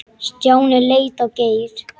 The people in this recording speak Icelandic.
Stjáni leit á Geir.